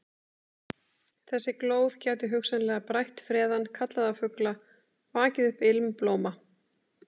Þessi glóð gæti hugsanlega brætt freðann, kallað á fugla, vakið upp ilm blóma.